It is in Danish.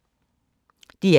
DR1